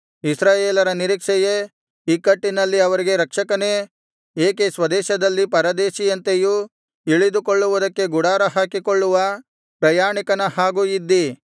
ಇಸ್ರಾಯೇಲರ ನಿರೀಕ್ಷೆಯೇ ಇಕ್ಕಟ್ಟಿನಲ್ಲಿ ಅವರಿಗೆ ರಕ್ಷಕನೇ ಏಕೆ ಸ್ವದೇಶದಲ್ಲಿ ಪರದೇಶಿಯಂತೆಯೂ ಇಳಿದುಕೊಳ್ಳುವುದಕ್ಕೆ ಗುಡಾರಹಾಕಿಕೊಳ್ಳುವ ಪ್ರಯಾಣಿಕನ ಹಾಗೂ ಇದ್ದೀ